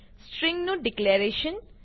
string નું declaration